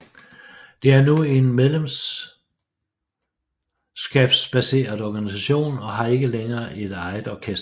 Det er nu en medlemskabsbaseret organisation og har ikke længere et eget orkester